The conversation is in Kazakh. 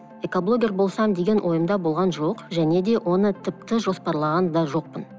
экоблогер болсам деген ойымда болған жоқ және де оны тіпті жоспарлаған да жоқпын